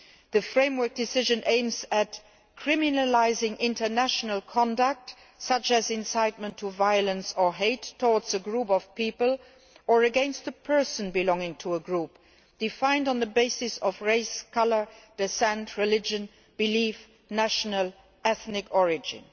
The framework decision aims at criminalising international conduct, such as incitement to violence or hate towards a group of people or against a person belonging to a group defined on the basis of race, colour, descent, religion, belief, or national or ethnic origin.